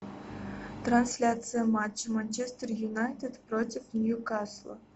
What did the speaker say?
трансляция матча манчестер юнайтед против нью касла